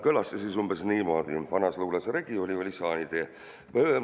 Kõlas see umbes niimoodi: "Vanas luules regi oli, oli saanitee ...